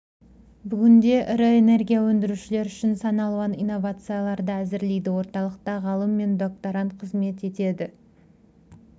бүгінде ірі энергия өндірушілер үшін сан алуан инновацияларды әзірлейді орталықта ғалым мен докторант қызмет етеді